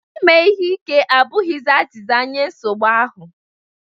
Ime ihe ike abụghị azịza nye nsogbu ahụ